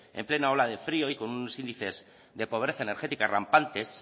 en plena ola de frío y con unos índices de pobreza energética rampantes